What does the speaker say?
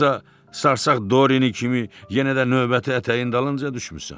Yoxsa sarsaq Dorini kimi yenə də növbəti ətəyin dalınca düşmüsən?